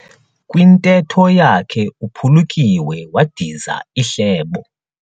Kwintetho yakhe uphulukiwe wadiza ihlebo.